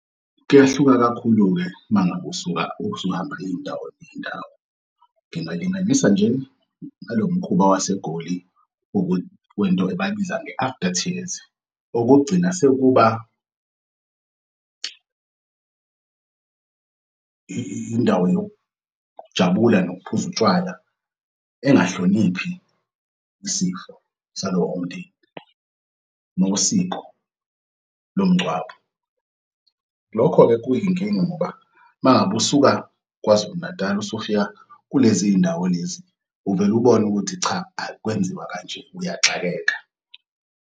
Kuyehluka kakhulu-ke mangabe usuhamb'iy'ndawo ney'ndawo. Ngingalinganisa nje ngalomkhuba waseGoli wento abay'biza nge-after tears. Okokugcina sekuba indawo yokujabula nokuphuza utshwala engahloniphi isifo salowo umndeni nosiko lomngcwabo. Lokho-ke kuyinkinga ngoba mangab'usuka KwaZulu Natal usufika kulezindawo lezi, uvele ubone ukuthi cha akwenziwa kanje uyaxakeka.